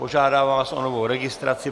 Požádám vás o novou registraci.